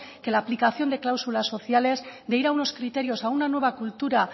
que la aplicación de cláusulas sociales de ir a unos criterios a una nueva cultura